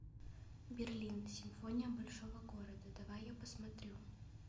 берлин симфония большого города давай я посмотрю